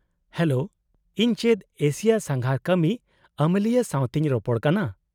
-Hello, ᱤᱧ ᱪᱮᱫ Asia ᱥᱟᱸᱜᱷᱟᱨ ᱠᱟᱹᱢᱤ ᱟᱹᱢᱟᱹᱞᱤᱭᱟᱹ ᱥᱟᱶᱛᱮᱧ ᱨᱚᱯᱚᱲ ᱠᱟᱱᱟ ?